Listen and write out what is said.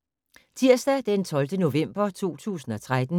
Tirsdag d. 12. november 2013